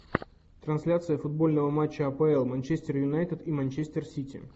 трансляция футбольного матча апл манчестер юнайтед и манчестер сити